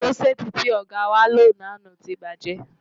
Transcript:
Kúrọ́ṣẹ́ẹ́tì tí ọ̀gá wá lò lánàá ti bàjẹ́.